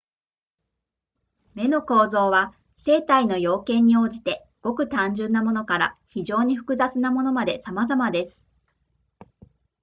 眼の構造は生体の要件に応じてごく単純なものから非常に複雑なものまでさまざまです